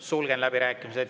Sulgen läbirääkimised.